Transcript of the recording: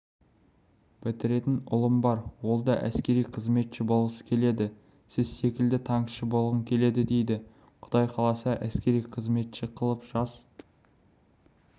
бітіретін ұлым бар ол да әскери қызметші болғысы келеді сіз секілді танкіші болғым келеді дейді құдай қаласа әскери қызметші қылып жас